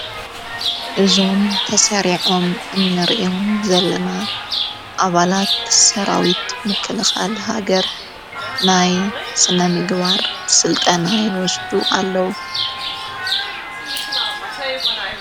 እዞም ተሠሪዖም እንርእም ዘለና ኣባላት ትሠራዊት ምከልኻል ሃገር ናይ ስነ ምግባር ሥልጠና ይወስዱ ኣለዉ።